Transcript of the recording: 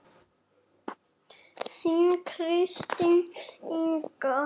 Þín Kristín Inga.